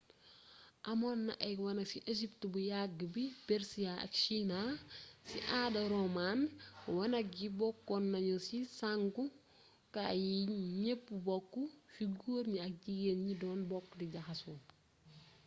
amoonna ay wanak ci egypt bu yagg bi persia ak china ci aada roaman wanak yi bokkon nagnu ci sangu kaay yi gneepp bokk fi goor gni ak jigén gni doon bokk di jaxaso